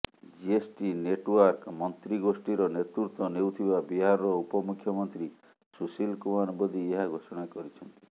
GST network ମନ୍ତ୍ରୀ ଗୋଷ୍ଠୀର ନେତୃତ୍ୱ ନେଉଥିବା ବିହାରର ଉପମୁଖ୍ୟମନ୍ତ୍ରୀ ସୁଶୀଲ କୁମାର ମୋଦି ଏହା ଘୋଷଣା କରିଛନ୍ତି